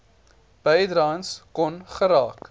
bydraes kon geraak